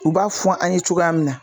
U b'a fɔ an ye cogoya min na